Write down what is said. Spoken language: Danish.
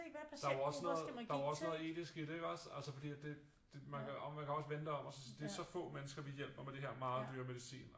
Der er jo også noget der jo også noget etisk i det ikke også fordi altså det det man kan også vende det om for det er så få mennesker vi hjælper med det her meget dyre medicin